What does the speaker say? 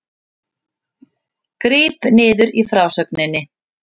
Gríp niður í frásögninni